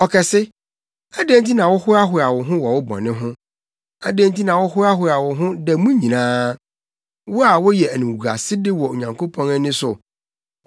Ɔkɛse, adɛn nti na wohoahoa wo ho wɔ wo bɔne ho? Adɛn nti na wohoahoa wo ho da mu nyinaa, wo a woyɛ animguasede wɔ Onyankopɔn ani so?